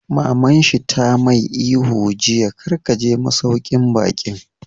Maman shi ta mai ihu jiya 'Kar ka je masauƙin baƙin'!